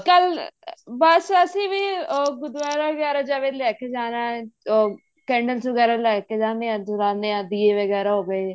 ਕੱਲ ਬੱਸ ਅਸੀਂ ਵੀ ਗੁਰੂਦੁਆਰਾ ਵਗੈਰਾ ਜਿਵੇਂ ਲੈਕੇ ਜਾਣਾ ਉਹ candles ਵਗੈਰਾ ਲੈਕੇ ਜਾਣੇ ਹਾਂ ਜਲਾਨੇ ਹਾਂ ਦੀਵੇਂ ਵਗੈਰਾ ਹੋ ਗਏ